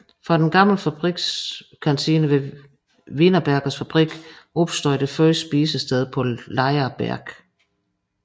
Fra den gamle fabrikskantine ved Wienerbergers fabrik opstod det første spisested på Laaer Berg